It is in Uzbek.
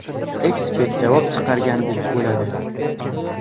Ekspert javob chiqargandek bo‘ladi.